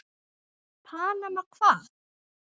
Panama hvað?